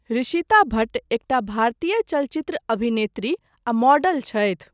ऋषिता भट्ट एकटा भारतीय चलचित्र अभिनेत्री आ मॉडल छथि।